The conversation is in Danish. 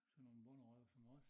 Sådan nogen bonderøve som os